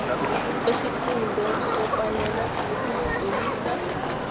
kwesiqunto sokwalelwa ukuzitlolisa